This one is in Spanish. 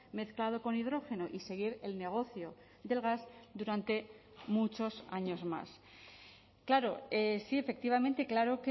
mezclado con hidrógeno y seguir el negocio del gas durante muchos años más claro sí efectivamente claro